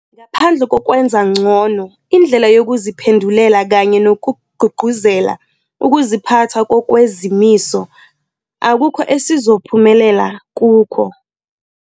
Ngaphandle kokwenza ngcono indlela yokuziphendulela kanye nokugqugquzela ukuziphatha ngokwezimiso, akukho esizophumelela kukho.